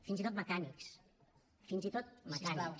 fins i tot mecànics fins i tot mecànics